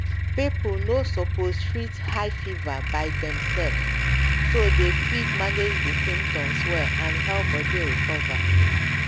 people no sopos treat high fever by themselves so dem fit manage di symptoms well and help body recover